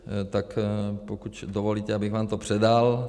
Tak pokud dovolíte, abych vám to předal.